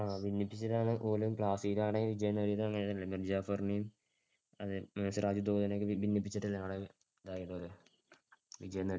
ആ ഭിന്നിപ്പിച്ചിട്ടാണുപോലും മിർ ജാഫറിനെയും സിറാജ്ദൌളെനെം കൂടി ഭിന്നിപ്പിച്ചിട്ടു വിജയം നേടാ~